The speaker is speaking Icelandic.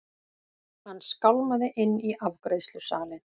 Hann skálmaði inn í afgreiðslusalinn.